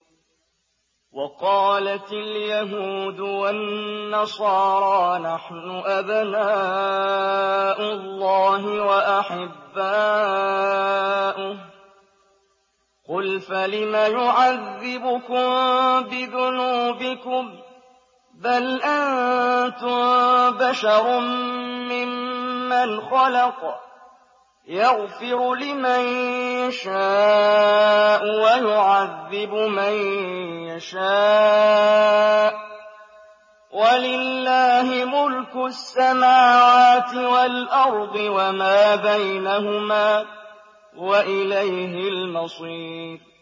وَقَالَتِ الْيَهُودُ وَالنَّصَارَىٰ نَحْنُ أَبْنَاءُ اللَّهِ وَأَحِبَّاؤُهُ ۚ قُلْ فَلِمَ يُعَذِّبُكُم بِذُنُوبِكُم ۖ بَلْ أَنتُم بَشَرٌ مِّمَّنْ خَلَقَ ۚ يَغْفِرُ لِمَن يَشَاءُ وَيُعَذِّبُ مَن يَشَاءُ ۚ وَلِلَّهِ مُلْكُ السَّمَاوَاتِ وَالْأَرْضِ وَمَا بَيْنَهُمَا ۖ وَإِلَيْهِ الْمَصِيرُ